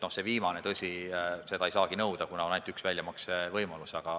Seda viimast, tõsi, ei saagi nõuda, kuna on ainult üks väljamaksevõimalus.